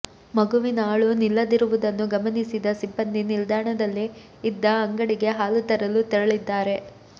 ಮಗುವಿನ ಅಳು ನಿಲ್ಲದಿರುವುದನ್ನು ಗಮನಿಸಿದ ಸಿಬ್ಬಂದಿ ನಿಲ್ದಾಣದಲ್ಲೇ ಇದ್ದ ಅಂಗಡಿಗೆ ಹಾಲು ತರಲು ತೆರಳಿದ್ದಾರೆ